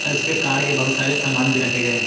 और इस पे कार के बहुत सारे सामान भी रखे गए--